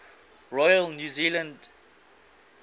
royal new zealand